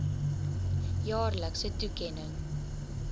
jaarlikse toekenning